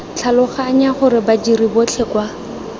tlhaloganya gore badiri botlhe kwa